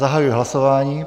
Zahajuji hlasování.